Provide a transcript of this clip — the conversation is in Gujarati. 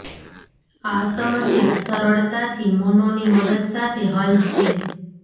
આ સમસ્યા સરળતાથી મોનો ની મદદ સાથે હલ છે